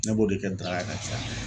Ne b'o de kɛ daraga ye ka caya.